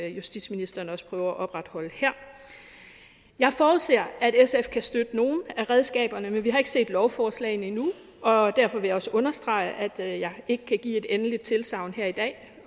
justitsministeren også prøver at opretholde her jeg forudser at sf kan støtte nogle af redskaberne men vi har ikke set lovforslagene endnu og derfor vil jeg også understrege at jeg ikke kan give et endeligt tilsagn her i dag